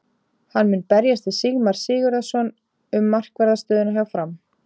Hann mun berjast við Sigmar Sigurðarson um markvarðar stöðuna hjá Fram.